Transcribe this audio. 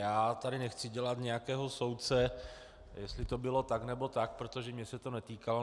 Já tady nechci dělat nějakého soudce, jestli to bylo tak, nebo tak, protože mě se to netýkalo.